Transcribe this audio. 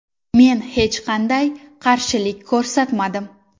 Men hech qanday qarshilik ko‘rsatmadim.